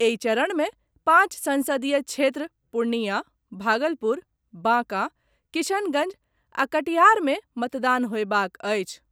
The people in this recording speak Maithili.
एहि चरण मे पांच संसदीय क्षेत्र पूर्णियां, भागलपुर, बांका, किशनगंज आ कटिहार में मतदान होएबाक अछि।